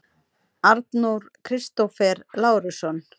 Aron Kristófer Lárusson